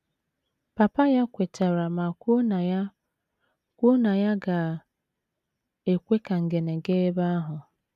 Papa ya kwetara ma kwuo na ya kwuo na ya ga - ekwe ka Ngene gaa ebe ahụ.